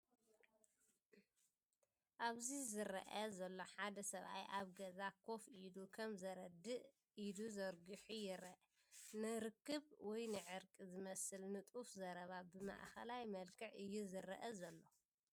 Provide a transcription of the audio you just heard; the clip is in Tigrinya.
ኣብዚ ዝረአ ዘሎ ሓደ ሰብኣይ ኣብ ገዛ ኮፍ ኢሉ፡ ከም ዘረድእ ኢዱ ዘርጊሑ ይርአ። ንርክብ ወይ ንዕርቂ ዝመስል ንጡፍ ዘረባ ብማእከላይ መልክዕ እዩ ዝረአ ዘሎ።